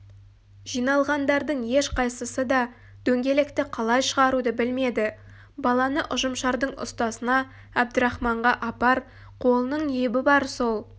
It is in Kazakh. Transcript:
жиналғандардың ешқайсысы да дөңгелекті қалай шығаруды білмеді баланы ұжымшардың ұстасына әбдірахманға апар қолының ебі бар сол